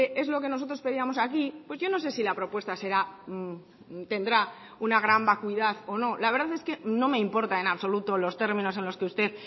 es lo que nosotros pedíamos aquí pues yo no sé si la propuesta será tendrá una gran vacuidad o no la verdad es que no me importa en absoluto los términos en los que usted